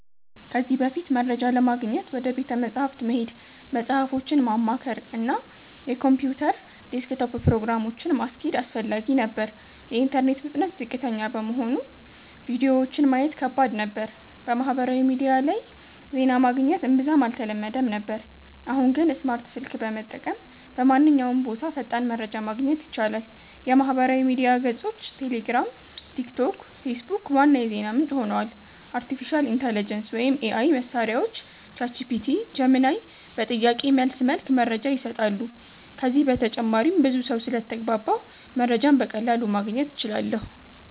ከዚህ በፊት፦ መረጃ ለማግኘት ወደ ቤተ መጻሕፍት መሄድ፣ መጽሃፎችን ማማከር፣ እና የኮምፒውተር ዴስክቶፕ ፕሮግራሞችን (እንደ Encarta) ማስኬድ አስፈላጊ ነበር። የኢንተርኔት ፍጥነት ዝቅተኛ በመሆኑ ቪዲዮዎችን ማየት ከባድ ነበር። በማህበራዊ ሚዲያ ላይ ዜና ማግኘት እምብዛም አልተለመደም ነበር። አሁን ግን፦ ስማርት ስልክ በመጠቀም በማንኛውም ቦታ ፈጣን መረጃ ማግኘት ይቻላል። የማህበራዊ ሚዲያ ገጾች (ቴሌግራም፣ ቲክቶክ፣ ፌስቡክ) ዋና የዜና ምንጭ ሆነዋል። አርቲፊሻል ኢንተሊጀንስ (AI) መሳሪያዎች (ChatGPT, Gemini) በጥያቄ መልስ መልክ መረጃ ይሰጣሉ። ከዚህ በተጨማሪም ብዙ ሰው ስለተግባባሁ መረጃን በቀላሉ ማግኘት እችላለሁ